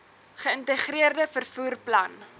geïntegreerde vervoer plan